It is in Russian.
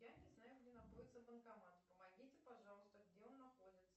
я не знаю где находится банкомат помогите пожалуйста где он находится